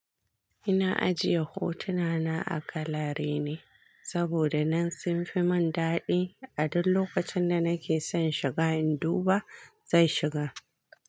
Ina ajiye hotuna na a galare ne, saboda nan sun fi mun daɗi. A duk lokacin da nake son shiga in duba, zan shiga.